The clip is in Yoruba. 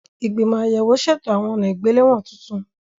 Ìgbìmọ̀ àyẹ̀wò ṣètò àwọn ọ̀nà ìgbéléwọ̀n tuntun.